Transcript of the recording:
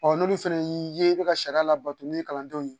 n'olu fana y'i ye i bɛ ka sariya labato ni kalandenw ye